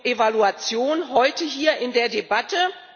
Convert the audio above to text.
Evaluation heute hier in der Debatte?